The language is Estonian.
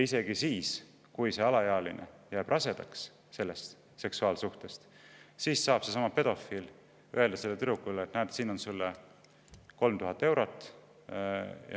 Ja kui see alaealine jääb sellest seksuaalsuhtest rasedaks, siis saab seesama pedofiil sellele tüdrukule öelda: "Näed, siin on sulle 3000 eurot.